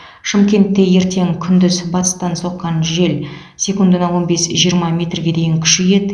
шымкентте ертең күндіз батыстан соққан жел секундына он бес жиырма метрге дейін күшейеді